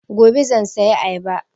Gobe zan sayi ayaba